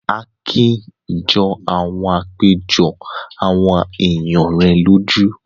Akin jọ àwọn àpéjọ àwọn èèyàn rẹ̀ lójú